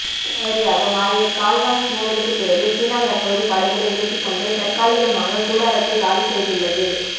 ரத்தக்களரியாக மாறிய கால்வான் மோதலுக்கு பிறகு சீனா தற்போது படைகளை விலக்கி கொண்டு தற்காலிகமாக கூடாரத்தை காலி செய்துள்ளது